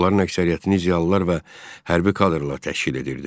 Onların əksəriyyətini ziyalılar və hərbi kadrlar təşkil edirdi.